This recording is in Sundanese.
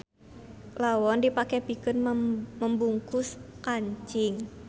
Lawon dipake pikeun membungkus kancing.